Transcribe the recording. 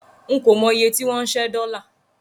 N kò mọ iye tí wọ́n ń ṣẹ́ dọ́là.